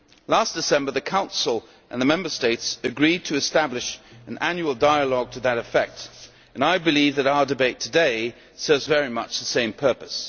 Last December the Council and the Member States agreed to establish an annual dialogue to that effect, and I believe that our debate today serves very much the same purpose.